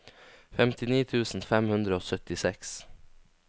femtini tusen fem hundre og syttiseks